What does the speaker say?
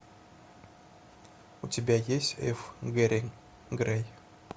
у тебя есть ф гэри грей